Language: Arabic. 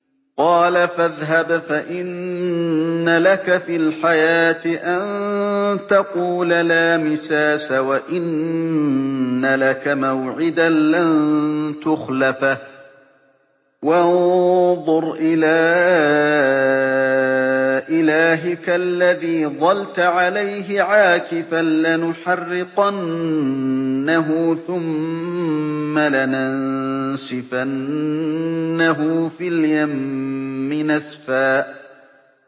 قَالَ فَاذْهَبْ فَإِنَّ لَكَ فِي الْحَيَاةِ أَن تَقُولَ لَا مِسَاسَ ۖ وَإِنَّ لَكَ مَوْعِدًا لَّن تُخْلَفَهُ ۖ وَانظُرْ إِلَىٰ إِلَٰهِكَ الَّذِي ظَلْتَ عَلَيْهِ عَاكِفًا ۖ لَّنُحَرِّقَنَّهُ ثُمَّ لَنَنسِفَنَّهُ فِي الْيَمِّ نَسْفًا